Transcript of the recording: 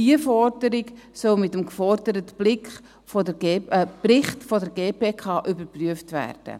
Auch diese Forderung soll mit dem geforderten Bericht der GPK überprüft werden.